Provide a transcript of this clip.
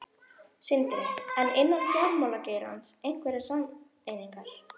Sindri: En innan fjármálageirans, einhverjar sameiningar?